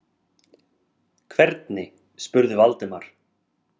Hvernig? spurði Valdimar.